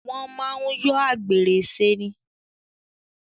Wọ́n máa ń yọ àgbèrè ṣe ni.